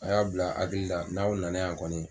A y'a bila aw hakili la n'aw nana y'a kɔni.